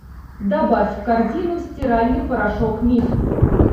добавь в корзину стиральный порошок миф